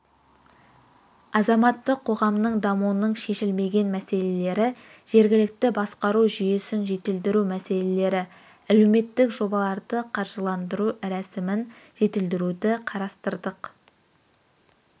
азаматтық қоғамның дамуының шешілмеген мәселелері жергілікті басқару жүйесін жетілдіру мәселелері әлеуметтік жобаларды қаржыландыру рәсімін жетілдіруді қарастырдық